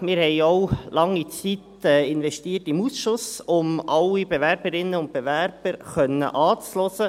Wir haben im Ausschuss viel Zeit investiert, um alle Bewerberinnen und Bewerber anhören zu können.